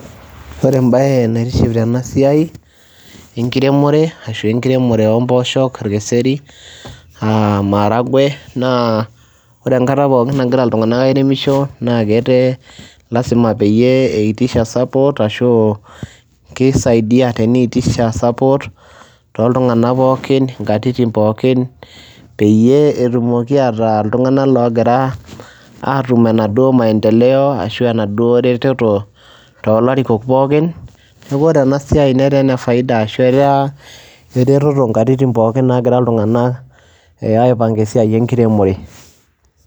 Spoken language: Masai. Ore embaye naitiship tena siai ashu enkiremore ashu enkiremore o mbooshok orkeseri aa maharagwe, naa ore enkata pookin angira iltung'anak airemisho naake etee lazima peyie eitisha support ashu kisaidia teniitisha support tooltung'ana pookin nkatitin pookin, peyie etumoki ataa iltung'anak loogira aatum enaduo maendeleo ashu enaduo retoto too larikok pookin. Neeku ore ena siai netaa ene faida ashu etaa eretoto nkatitin pookin naagira iltung'anak aipang'a esiai enkiremore